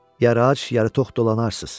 Yarı ac, yarı tox dolanarsız.